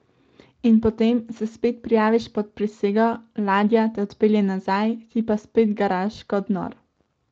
In potem se spet prijaviš pod prisego, ladja te odpelje nazaj, ti pa spet garaš kot nor.